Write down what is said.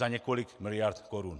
Za několik miliard korun.